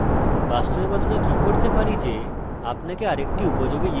এই দ্বিতীয় ফাংশন আপনার শেখা উচিত